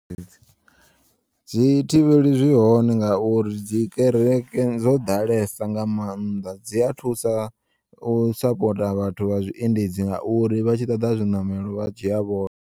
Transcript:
Dzi thivheli zwi hone ngauri dzi kereke dzo ḓalesa nga maanḓa dzi a thusa u sapota vhathu vha zwiendedzi ngauri vha tshi ṱoḓa zwiṋamelo vhadzhiya vhone.